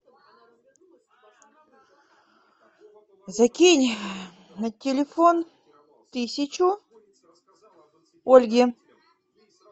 закинь на телефон тысячу ольге